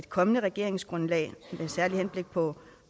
kommende regeringsgrundlag med særligt henblik på